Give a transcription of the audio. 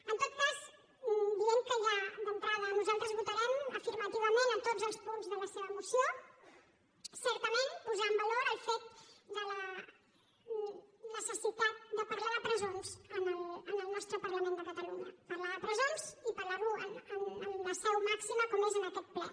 en tot cas dient que ja d’entrada nosaltres votarem afirmativament tots els punts de la seva moció certament posar en valor el fet de la necessitat de parlar de presons en el nostre parlament de catalunya parlar de presons i parlar ho en la seu màxima com és aquest ple